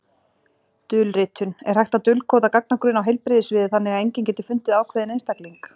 Dulritun Er hægt að dulkóða gagnagrunn á heilbrigðissviði þannig að enginn geti fundið ákveðinn einstakling?